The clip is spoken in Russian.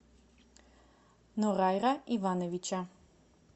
норайра ивановича